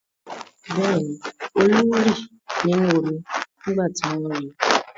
Bẹ́ẹ̀ ni, Olú rì nínú omi nígbà tí wọ́n ri.